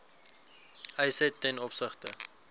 eise ten opsigte